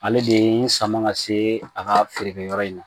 Ale de n sama ka se a ka feerekɛyɔrɔ in na